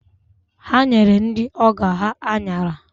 Ha nyere ndị ọgọ ha aṅara